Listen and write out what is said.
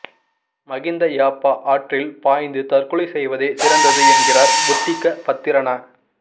மகிந்த யாப்பா ஆற்றில் பாய்ந்து தற்கொலை செய்வதே சிறந்தது என்கிறார் புத்திக்க பத்திரன